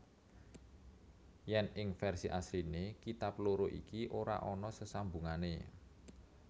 Yen ing versi asliné kitab loro iki ora ana sesambungané